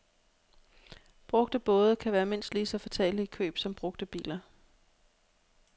Brugte både kan være mindst lige så fatale i køb som brugte biler.